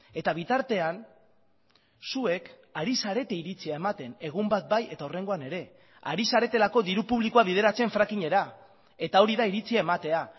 eta bitartean zuek ari zarete iritzia ematen egun bat bai eta hurrengoan ere ari zaretelako diru publikoa bideratzen frackingera eta hori da iritzia ematea